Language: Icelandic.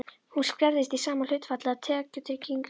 Hún skerðist í sama hlutfalli og tekjutrygging.